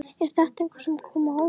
Er þetta eitthvað sem kom á óvart?